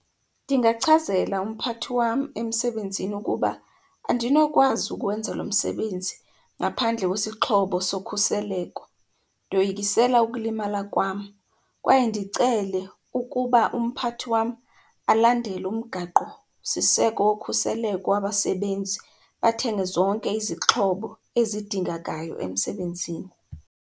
Ndingachazela umphathi wam emsebenzini ukuba andinokwazi ukwenza lo msebenzi ngaphandle kwesixhobo sokhuseleko. Ndoyikisela ukulimala kwam kwaye ndicele ukuba umphathi wam alandele umgaqo siseko wokhuseleko wabasebenzi, athenge zonke izixhobo ezidingekayo emsebenzini.